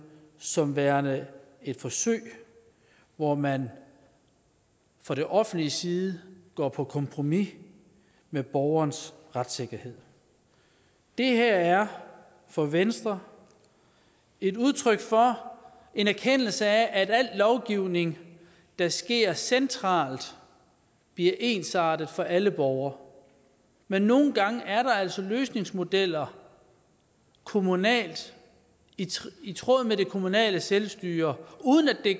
som værende et forsøg hvor man fra det offentliges side går på kompromis med borgerens retssikkerhed det her er for venstre et udtryk for en erkendelse af at al lovgivning der sker centralt bliver ensartet for alle borgere men nogle gange er der altså løsningsmodeller kommunalt i tråd med det kommunale selvstyre uden at de